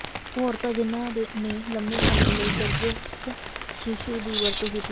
ਉਹ ਔਰਤਾਂ ਜਿਨ੍ਹਾਂ ਨੇ ਲੰਮੇ ਸਮੇਂ ਲਈ ਗਰੱਭਸਥ ਸ਼ੀਸ਼ੂ ਦੀ ਵਰਤੋਂ ਕੀਤੀ ਹੈ